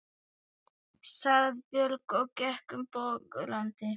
sagði Björn og gekk um bograndi.